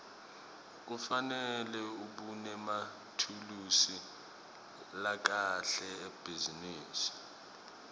kufanele ubenemathulusi lakahle ebhizinisi